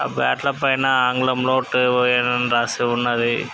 ఆ బాట్ ల పైన ఆంగ్లం లో అని రాసి ఉన్నదీ.